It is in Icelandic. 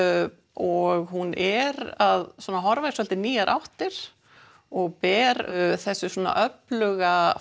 og hún er að horfa í svolítið nýjar áttir og ber þessu öfluga